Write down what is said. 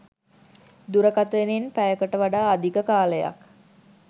දුරකථනයෙන් පැයකට වඩා අධික කාලයක්